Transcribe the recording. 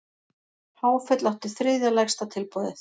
Háfell átti þriðja lægsta tilboðið